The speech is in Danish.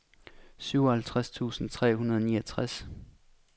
syvoghalvtreds tusind tre hundrede og niogtres